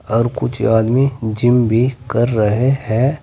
और कुछ आदमी जिम भी कर रहे है।